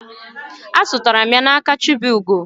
Azụtara m ya na aka chibugo